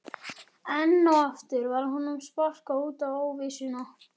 Enn og aftur var honum sparkað út í óvissuna.